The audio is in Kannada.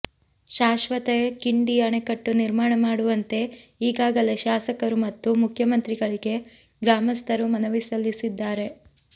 ಶಾಶ್ವತ ಕಿಂಡಿ ಅಣೆಕಟ್ಟು ನಿರ್ಮಾಣ ಮಾಡುವಂತೆ ಈಗಾಗಲೇ ಶಾಸಕರು ಮತ್ತು ಮುಖ್ಯಮಂತ್ರಿಗಳಿಗೆ ಗ್ರಾಮಸ್ಥರು ಮನವಿ ಸಲ್ಲಿಸಿದ್ದಾರೆ